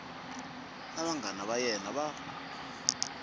na vanghana va yena va